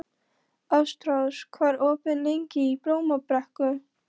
Ástrós, hvað er opið lengi í Blómabrekku?